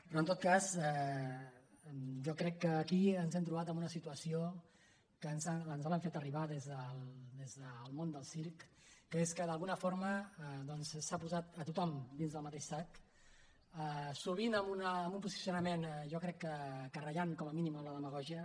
però en tot cas jo crec que aquí ens hem trobat en una situació que ens l’han fet arribar des del món del circ que és que d’alguna forma s’ha posat a tothom en el mateix sac sovint amb un posicionament jo crec que ratllant com a mínim amb la demagògia